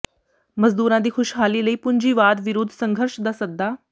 ਮਜ਼ਦੂਰਾਂ ਦੀ ਖੁਸ਼ਹਾਲੀ ਲਈ ਪੂੰਜੀਵਾਦ ਵਿਰੁੱਧ ਸੰਘਰਸ਼ ਦਾ ਸੱਦਾ